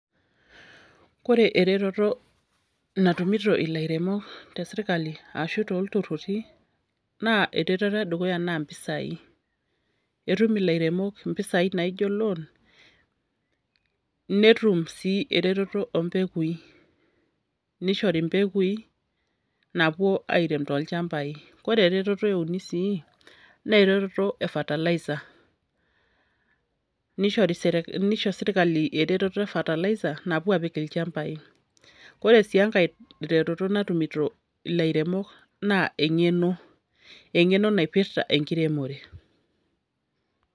kore eretoto natumito ilairemok tesirkali ashu tooltururi, naa eretoto edukuya naa impisai, etum ilairemok impisai naijo loan, netum sii eretoto oompekui, nishori impekui naapuo airem tolchambai. kore eretoto euni sii , naa eretoto e fertilizer. Nisho serkali eretoto e fertilizer napuo aapik ilchambai. Wore sii enkae retoto natumito ilairemok naa eng'eno, eng'eno naipirta enkiremore.